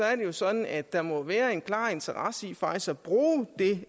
er det jo sådan at der må være en klar interesse i faktisk at bruge det